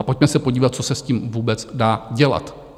A pojďme se podívat, co se s tím vůbec dá dělat.